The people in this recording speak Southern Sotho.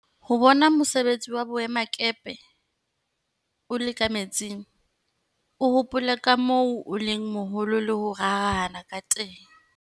Ho bona mosebetsi wa boemakepe o le ka metsing, o hopola ka moo o leng moholo le ho rarahana ka teng.